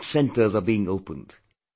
More such centres are being opened